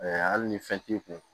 hali ni fɛn t'i kun